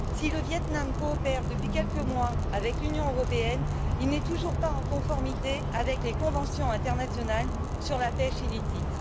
Si le Viêt Nam coopère depuis quelques mois avec l'Union, il n'est toujours pas en conformité avec les conventions internationales sur la pêche illicite.